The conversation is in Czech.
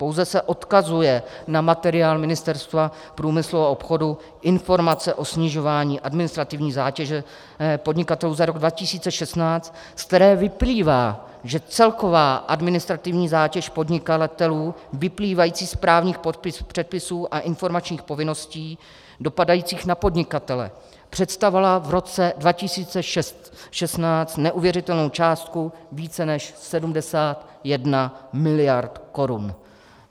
Pouze se odkazuje na materiál Ministerstva průmyslu a obchodu Informace o snižování administrativní zátěže podnikatelů za rok 2016, ze kterého vyplývá, že celková administrativní zátěž podnikatelů vyplývající z právních předpisů a informačních povinností dopadajících na podnikatele představovala v roce 2016 neuvěřitelnou částku více než 71 miliard korun.